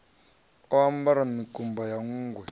o ambara mikumba ya nṋgwe